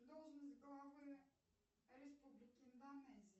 должность главы республики индонезии